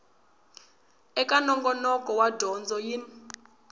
eka nongonoko wa dyondzo yin